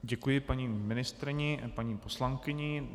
Děkuji paní ministryni a paní poslankyni.